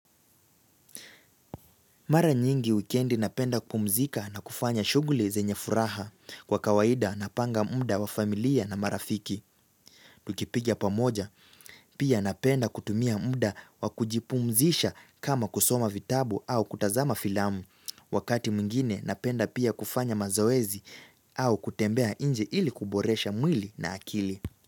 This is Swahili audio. Mara nyingi wikendi napenda kupumzika na kufanya shuguli zenye furaha kwa kawaida napanga muda wa familia na marafiki. Tukipiga pamoja. Pia napenda kutumia muda wa kujipumzisha kama kusoma vitabu au kutazama filamu. Wakati mwingine napenda pia kufanya mazoezi au kutembea nje ili kuboresha mwili na akili.